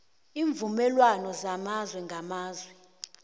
iimvumelwana zamazwe ngamazwe